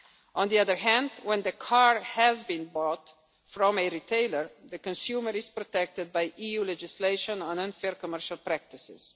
On the other hand, when the car has been bought from a retailer, the consumer is protected by EU legislation on unfair commercial